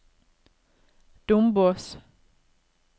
Dombås